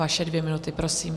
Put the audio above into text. Vaše dvě minuty, prosím.